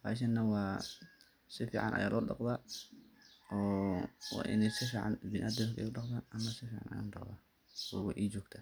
bahashaan wa sifican aya lo dhaqda oo wa ini sifican biniadam udaqdhan ana sifican ayan udaqdha weyna ijogta.